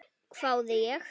hváði ég.